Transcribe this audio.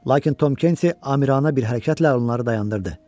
Lakin Tom Kenti amirana bir hərəkətlə onları dayandırdı.